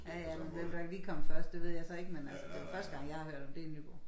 Ja ja men hvem der lige kom først det ved jeg så ikke men altså den første gang jeg har hørt om det det Nyborg